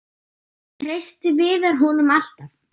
Treysti Viðar honum alltaf?